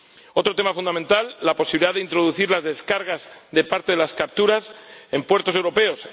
Otro tema fundamental la posibilidad de introducir las descargas de parte de las capturas en puertos europeos